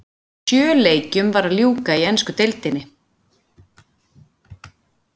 Sjö leikjum var að ljúka í ensku deildinni.